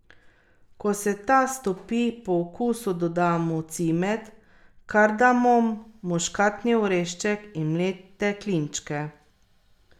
Ko se ta stopi, po okusu dodamo cimet, kardamom, muškatni orešček in mlete klinčke.